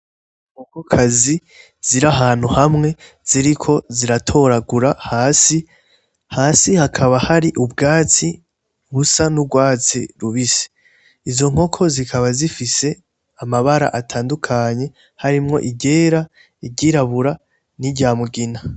Inkokokazi ziri ahantu hamwe ziriko ziratoragura hasi. Hasi hakaba hari ubwatsi busa n'urwatsi rubisi. Izo nkoko zikaba zifise amabara atandukanye harimwo iryera, iryirabura n'irya mugina.